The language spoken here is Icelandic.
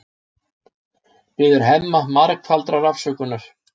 Biður Hemma margfaldrar afsökunar.